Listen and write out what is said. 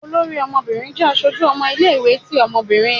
Olorí ọmọbirin jẹ aṣoju ọmọ ile-iwetí obinrín.